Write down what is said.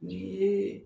Nin yee